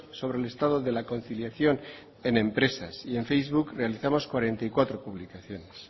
sobre el estado de la conciliación en empresas y en facebook realizamos cuarenta y cuatro publicaciones